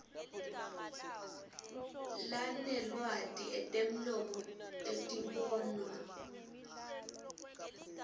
lanelwati etemlomo etibonwa